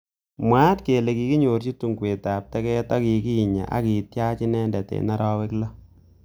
Mwaat kele kikinyorji tungwek ab teget ak kikinya akityaach inendet eng arawek lo.